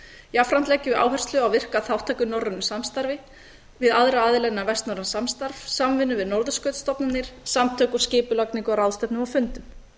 jafnframt leggjum við áherslu á virka þátttöku í norrænu samstarfi við aðra aðila innan vestnorræns samstarfs samvinnu við norðurskautsstofnanir samtök og skipulagningu á ráðstefnum og fundum